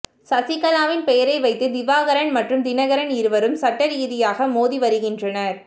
சசிகலாவின் பெயரை வைத்து திவாகரன் மற்றும் தினகரன் இருவரும் சட்ட ரீதியாக மோதி வருகின்றனர்